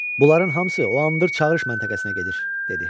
Bunların hamısı o Andır çağırış məntəqəsinə gedir," dedi.